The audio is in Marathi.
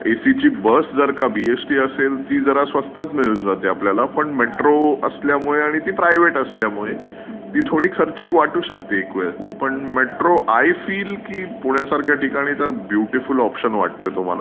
एसी ची बस जर का ती बीईएसटी असेल तर ती जरा स्वस्थत मिळून जाते आपल्याला पण मेट्रो असल्यामुळे आणि ती प्रायव्हेट असल्यामुळे ती थोडी खर्चीक वाटू शकते एक वेळ. पण मेट्रो आय फील की पुण्यासारख्या ठिकाणी तर ब्युटिफुल ऑप्शन वाटतोय तो मला.